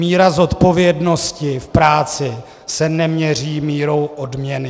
Míra zodpovědnosti v práci se neměří mírou odměny.